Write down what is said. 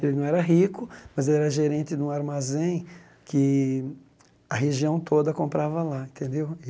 Ele não era rico, mas ele era gerente de um armazém que a região toda comprava lá, entendeu?